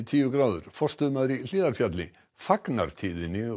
tíu gráður forstöðumaður í Hlíðarfjalli fagnar tíðinni